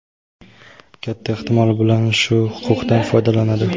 Katta ehtimol bilan shu huquqdan foydalanadi.